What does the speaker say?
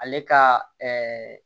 Ale ka